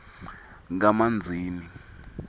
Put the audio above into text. kamanzini